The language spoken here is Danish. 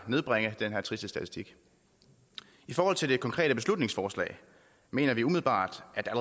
nedbringe den her triste statistik i forhold til det konkrete beslutningsforslag mener vi umiddelbart at der